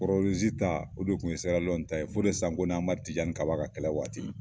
ta o de kun ye Sera Liyɔnni ta ye , Fode Sanko ni Amadu Tijani kaba ka kɛlɛ waati ye